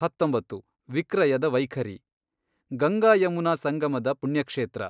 ಹತ್ತೊಂಬತ್ತು, ವಿಕ್ರಯದ ವೈಖರಿ ಗಂಗಾಯಮುನಾ ಸಂಗಮದ ಪುಣ್ಯಕ್ಷೇತ್ರ.